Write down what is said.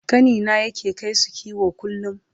ƙanina yake kaisu kiwo kullum